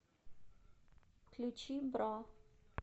включи бра